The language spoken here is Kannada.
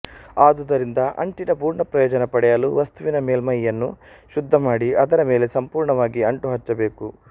ಆದುದರಿಂದ ಅಂಟಿನ ಪುರ್ಣ ಪ್ರಯೋಜನ ಪಡೆಯಲು ವಸ್ತುವಿನ ಮೇಲ್ಮೈಯನ್ನು ಶುದ್ಧಮಾಡಿ ಅದರ ಮೇಲೆ ಸಂಪುರ್ಣವಾಗಿ ಅಂಟು ಹಚ್ಚಬೇಕು